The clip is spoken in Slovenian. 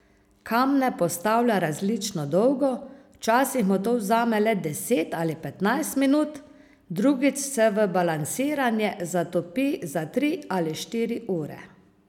Kamne postavlja različno dolgo, včasih mu to vzame le deset ali petnajst minut, drugič se v balansiranje zatopi za tri ali štiri ure.